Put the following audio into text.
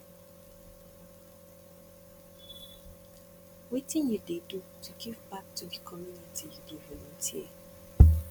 wetin you dey do to give back to di community you dey volunteer